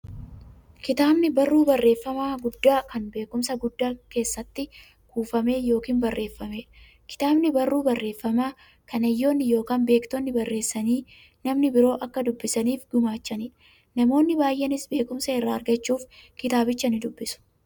Kitaabni barruu barreeffamaa guddaa, kan beekumsi guddaan keessatti kuufame yookiin barreefameedha. Kitaabni barruu barreeffamaa, kan hayyoonni yookiin beektonni barreessanii, namni biroo akka dubbisaniif gumaachaniidha. Namoonni baay'eenis beekumsa irraa argachuuf kitaabicha ni dubbisu.